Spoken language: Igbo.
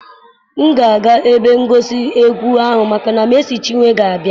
M ga-aga ebe ngosi egwu ahụ maka na Mercy Chinwe ga-abịa.